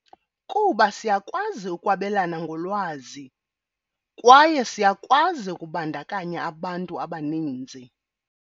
Kuba siyakwazi ukwabelana ngolwazi, kwaye siyakwazi ukubandakanya abantu abaninzi.